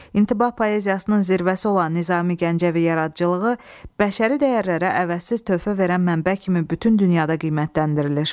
İntibah poeziyasının zirvəsi olan Nizami Gəncəvi yaradıcılığı bəşəri dəyərlərə əvəzsiz töhfə verən mənbə kimi bütün dünyada qiymətləndirilir.